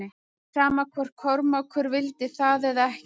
Sama hvort Kormákur vildi það eða ekki.